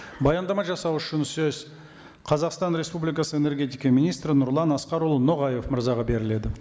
баяндама жасау үшін сөз қазақстан республикасы энергетика министрі нұрлан асқарұлы ноғаев мырзаға беріледі